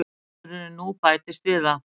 Niðurskurðurinn nú bætist við það